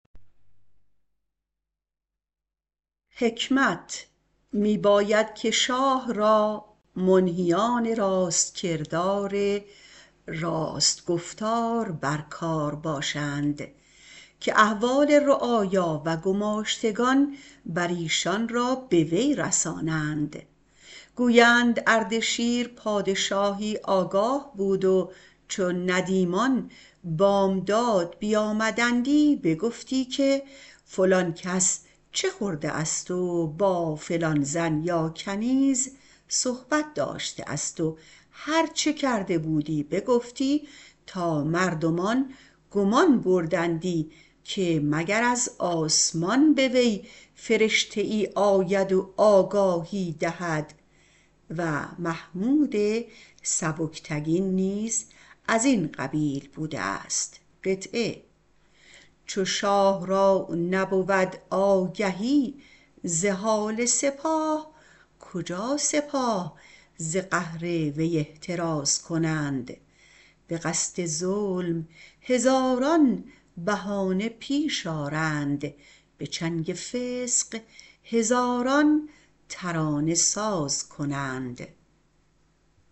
می باید که شاه را منهیان راست کردار راست گفتار بر کار باشند که احوال رعایا و گماشتگان بر ایشان را به وی رسانند گویند اردشیر پادشاهی آگاه بود و چون ندیمان بامداد بیامدندی بگفتی که فلان کس چه خورده است و با فلان زن یا کنیز صحبت داشته است و هر چه کرده بودی بگفتی تا مردمان گمان بردندی که مگر از آسمان به وی فرشته ای آید و آگاهی دهد و محمود سبکتگین نیز از این قبیل بوده است چو شاه را نبود آگهی ز حال سپاه کجا سپاه ز قهر وی احتراز کنند به قصد ظلم هزاران بهانه پیش آرند به چنگ فسق هزاران ترانه ساز کنند